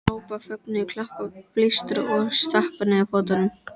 Hrópa af fögnuði, klappa, blístra og stappa niður fótunum!